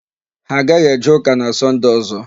Ha aghaghị eje ụka na Sọnde ọ̀zọ́.